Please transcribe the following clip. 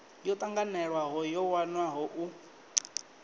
yo tanganelaho yo wanwaho u